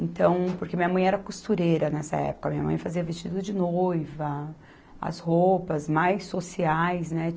Então, porque minha mãe era costureira nessa época, minha mãe fazia vestido de noiva, as roupas mais sociais, né?